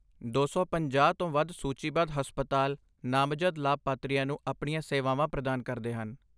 ਦੋ ਸੌ ਪੰਜਾਹ ਤੋਂ ਵੱਧ ਸੂਚੀਬੱਧ ਹਸਪਤਾਲ ਨਾਮਜ਼ਦ ਲਾਭਪਾਤਰੀਆਂ ਨੂੰ ਆਪਣੀਆਂ ਸੇਵਾਵਾਂ ਪ੍ਰਦਾਨ ਕਰਦੇ ਹਨ